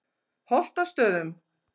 Holtastöðum